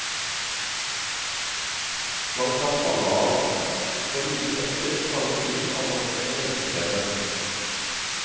Man kan falle av, for like etter å fanges inn av nok en menneskeskjebne.